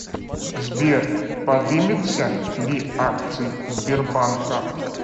сбер подымется ли акции сбербанка